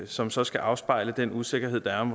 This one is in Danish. som så skal afspejle den usikkerhed der er